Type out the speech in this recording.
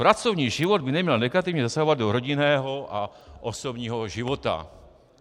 Pracovní život by neměl negativně zasahovat do rodinného a osobního života.